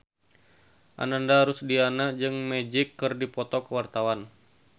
Ananda Rusdiana jeung Magic keur dipoto ku wartawan